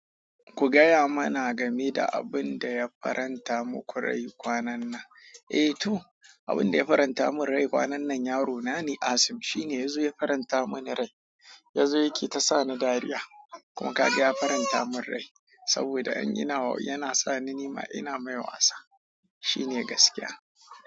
Ku gaya mana game da abin da ya faranta muku rai kwanan nan. Eh to, abin da ya faranta mun rai kwanan nan yaro na ne Asim. Shine yazonya faranta mini rai yazo yana ta sakani dariya kuma kaga ya faranta mun rai saboda in yi na wa yana sa ni nima ina mai wasa. Shine gaskiya.